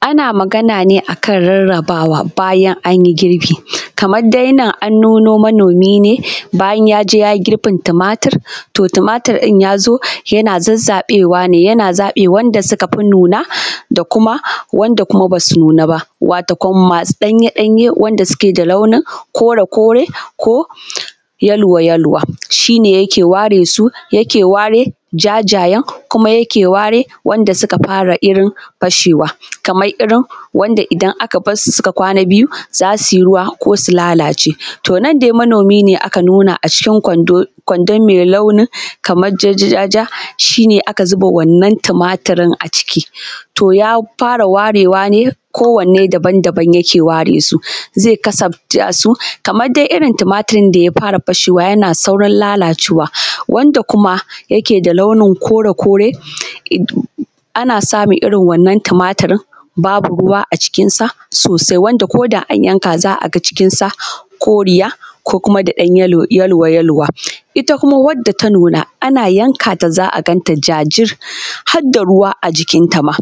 Ana magana ne akan rarrabawa bayan an yi girbi, kamar dai nan an nuno manomi ne bayan ya je ya yi girbin tumatur, to tumatir ɗin ya zo yana zazzaɓewa ne yana zaɓe wanda suka fi nuna da kuma wanda kuma ba su nuna ba, wato kam masu ɗanye-ɗanye wanda suke da launin kore ko yellow-yellow haka shi ne yake ware su yake ware jajayen kuma yake ware wanda suka fara irin fashewa kamar irin wanda idan aka bar su suka kwana biyu za su yi ruwa ko su lalace. To, nan dai manomi ne aka nuna a cikin Kwando-kwando mai launin kamar ja-ja-ja shi ne aka zuba wannan tumaturin a cikin to ya fara ware wa ne, kowanne daban-daban yake ware su zai kasafta su kamar dai irin tumaturin da ya fara fashewa, yana saurin lalacewa wanda kuma yake da launin kore- kore ana samun irin wannnan tumaturin babu ruwa a jikinta sosai, wanda ko da an yanka za a ga cikinsa koriya ko kuma dai ɗan yellow-yellow haka ita kuma wadda ta nuna ana yanka ta za a ganta jajir har da ruwa a jikinta ma;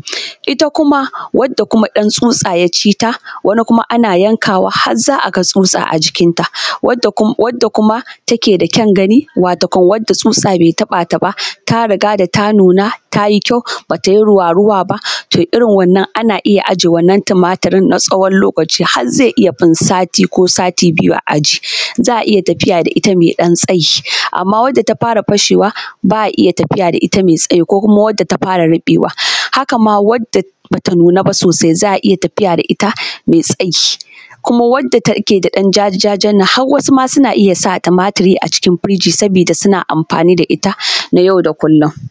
ita kuma wadda kuma ɗan tsutsa ya ci ta wani kuma ana yankawa har za a ga tsutsa a jikinta, wadda kuma take da kyan gani wato kam wanda tsutsa bai taɓa ta ba, ta riga da ta nuna ta yi kyau ba ta yi ruwa-ruwa ba, to irin wannan ana iya a je wannan tumaturi na tsawon lokaci har zai iya fin sati ko sati biyu a ijiye, za a iya tafiya da ita mai ɗan tsayi amma wadda ta fara fashewa ba a tafiya da ita mai ɗan tsayi ko kuma wadda ta fara ruɓewa. Haka ma wadda ba ta nuna ba sosai za a iya tafiya da ita mai tsayi kuma wadda take da ɗan jajajan nan har wasu ma suna iya sa tumaturi a cikin firiji saboda suna amfani da ita a yau da kullum.